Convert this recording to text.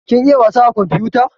Kin iya wasa a komfuta?